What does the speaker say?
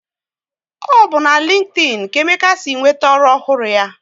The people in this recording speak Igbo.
Ọ bụ na LinkedIn ka Emeka si nweta ọrụ ọhụrụ ya